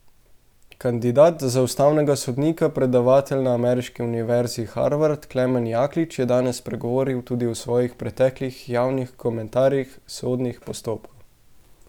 Kandidat za ustavnega sodnika, predavatelj na ameriški univerzi Harvard, Klemen Jaklič, je danes spregovoril tudi o svojih preteklih javnih komentarjih sodnih postopkov.